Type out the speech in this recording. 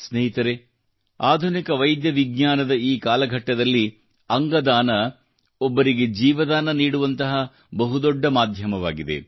ಸ್ನೇಹಿತರೆ ಆಧುನಿಕ ವೈದ್ಯವಿಜ್ಞಾನದ ಈ ಕಾಲಘಟ್ಟದಲ್ಲಿ ಅಂಗ ದಾನ ಒಬ್ಬರಿಗೆ ಜೀವದಾನ ನೀಡುವಂತಹ ಬಹುದೊಡ್ಡ ಮಾಧ್ಯಮವಾಗಿದೆ